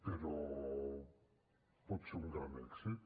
però pot ser un gran èxit